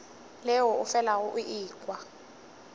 leo o felago o ekwa